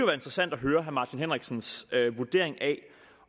være interessant at høre herre martin henriksens vurdering af